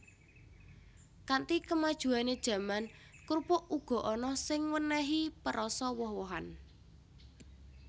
Kanthi kemajuané jaman krupuk uga ana sing wènèhi perasa woh wohan